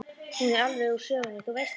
Hún er alveg úr sögunni, þú veist það.